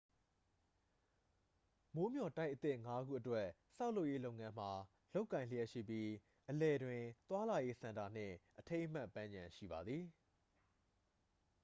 မိုးမျှော်တိုက်အသစ် 5 ခုအတွက် ဆောက်လုပ်ရေးလုပ်ငန်းမှာ လုပ်ကိုင်လျှက်ရှိပြီး အလယ်တွင် သွားလာရေး စင်တာနှင့် အထိမ်းအမှတ်ပန်းခြံ ရှိပါသည်